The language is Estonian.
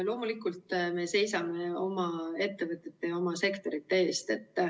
Loomulikult me seisame oma ettevõtete ja oma sektorite eest.